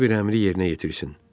Hər bir əmri yerinə yetirsin.